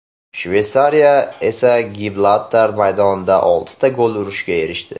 Shveysariya esa Gibraltar maydonida oltita gol urishga erishdi.